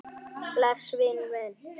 Bless vinur minn.